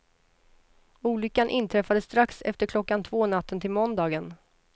Olyckan inträffade strax efter klockan två natten till måndagen.